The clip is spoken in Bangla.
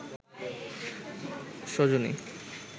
সজনী